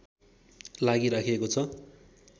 लागि राखिएको छ